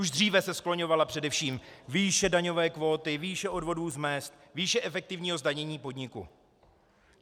Už dříve se skloňovala především výše daňové kvóty, výše odvodů z mezd, výše efektivního zdanění podniku.